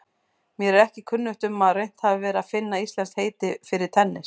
Mér er ekki kunnugt um að reynt hafi verið að finna íslenskt heiti fyrir tennis.